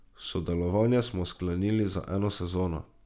Sodelovanje smo sklenili za eno sezono.